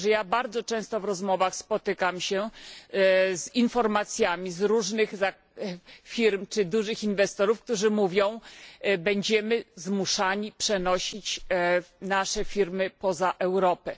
Bardzo często w rozmowach spotykam się z informacjami od różnych firm czy dużych inwestorów, którzy mówią Będziemy zmuszeni przenosić nasze firmy poza Europę.